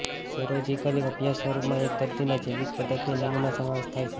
serological અભ્યાસ સ્વરૂપમાં એક દર્દીના જૈવિક પદાર્થની નમૂના સમાવેશ થાય છેઃ